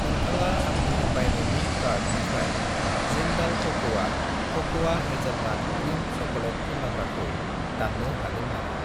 नोंथाङा आंनि बायनायनि कार्टनिफ्राय जिन्डाल कक'आ क'क'आ हेजेलनाट क्रिम चक'लेट फुनलाग्राखौ दान्नो हागोन नामा?